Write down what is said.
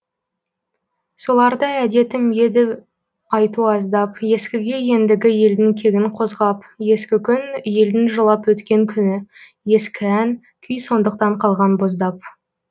соларды әдетім еді айту аздап ескіге ендігі елдің кегін қозғап ескі күн елдің жылап өткен күні ескі ән күй сондықтан қалған боздап